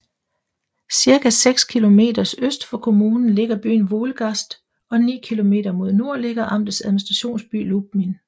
Cirka seks kilometer øst for kommunen ligger byen Wolgast og ni kilometer mod nord ligger amtets administrationsby Lubmin